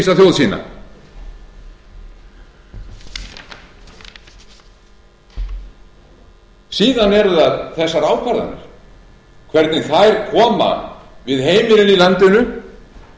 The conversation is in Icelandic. upplýsa þjóð sína síðan eru það þessar ákvarðanir hvernig þær koma við heimilin í landinu við fyrirtækin í landinu og